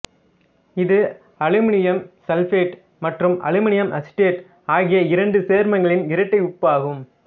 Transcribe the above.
இது aluminium sulphate மற்றும் aluminium acetate ஆகிய இரண்டு சேர்மங்களின் இரட்டை உப்பு ஆகும்